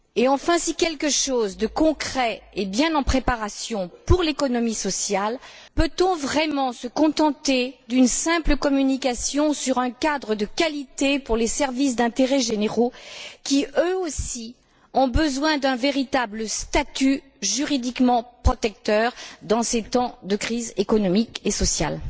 Enfin, si quelque chose de concret est bien en préparation pour l'économie sociale, peut on vraiment se contenter d'une simple communication sur un cadre de qualité pour les services d'intérêts généraux qui, eux aussi, ont besoin d'un véritable statut juridiquement protecteur dans ces temps de crise économique et sociale?